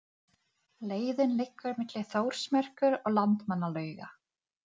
Frænka mín fékk hraðasekt á Norðurlandi.